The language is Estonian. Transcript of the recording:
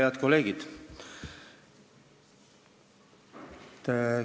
Head kolleegid!